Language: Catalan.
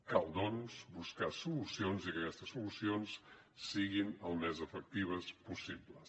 cal doncs buscar solucions i que aquestes solucions siguin al més efectives possible